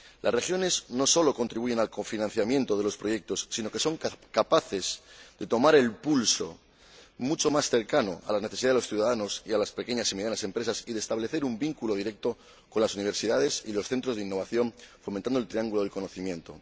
Las regiones no solo contribuyen al cofinanciamiento de los proyectos, sino que son capaces de tomar un pulso mucho más cercano a las necesidades de los ciudadanos y a las pequeñas y medianas empresas, y de establecer un vínculo directo con las universidades y los centros de innovación, fomentando el triángulo del conocimiento.